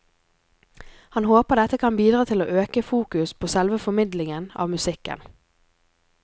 Han håper dette kan bidra til å øke fokus på selve formidlingen av musikken.